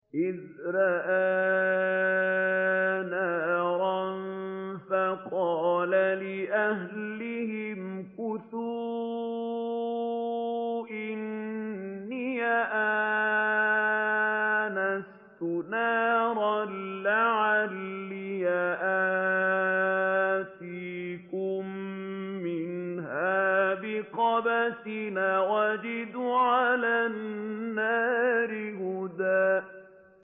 إِذْ رَأَىٰ نَارًا فَقَالَ لِأَهْلِهِ امْكُثُوا إِنِّي آنَسْتُ نَارًا لَّعَلِّي آتِيكُم مِّنْهَا بِقَبَسٍ أَوْ أَجِدُ عَلَى النَّارِ هُدًى